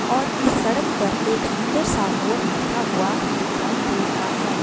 और इस सड़क पर एक सुंदर सा मोर बैठा हुआ दिखाई दे रहा है।